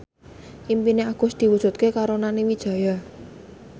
impine Agus diwujudke karo Nani Wijaya